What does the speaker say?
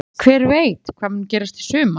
Hver veit hvað mun gerast í sumar?